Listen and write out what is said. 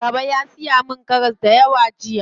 Baba ya siyi ma karas dayawa jiya.